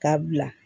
K'a bila